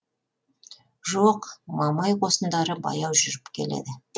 жоқ мамай қосындары баяу жүріп келеді